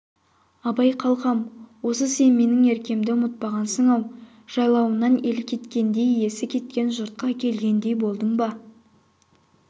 абай қалқам осы сен менің еркемді ұмытпағансың-ау жайлауынан ел кеткендей иесі кеткен жұртқа келгендей болдың ба